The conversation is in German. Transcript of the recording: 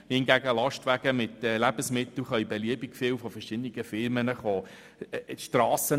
Hingegen können Lastwagen zum Lebensmitteltransport von verschiedenen Firmen kommen.